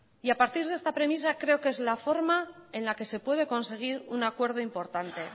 y a partir de esta premisa creo que es la forma en la que se puede conseguir un acuerdo importante